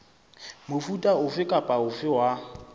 mofuta ofe kapa ofe wa